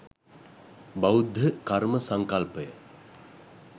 බෞද්ධ කර්ම සංකල්පය